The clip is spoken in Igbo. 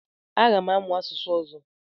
Aga m amụ asụsụ ọzọ.